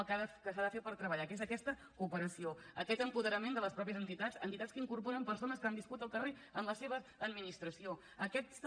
el que s’ha de fer per treballar que és aquesta operació aquest apoderament de les mateixes entitats entitats que incorporen persones que han viscut al carrer en la seva administració aquesta